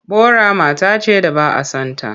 Bora mata ce da ba a son ta.